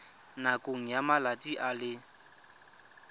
nakong ya malatsi a le